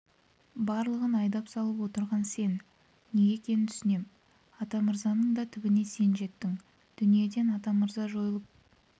барлығын айдап салып отырған сен неге екенін түсінем атамырзаның да түбіне сен жеттің дүниеден атамырза жойылып